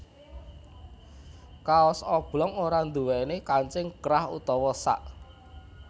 Kaos oblong ora nduwèni kancing krah utawa sak